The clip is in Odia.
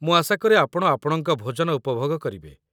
ମୁଁ ଆଶା କରେ ଆପଣ ଆପଣଙ୍କ ଭୋଜନ ଉପଭୋଗ କରିବେ।